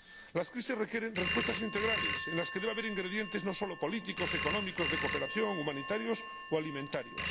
Las crisis requieren respuestas integrales, en las que debe haber ingredientes no solo políticos, económicos, de cooperación, humanitarios o alimentarios.